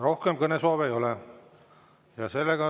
Rohkem kõnesoove ei ole.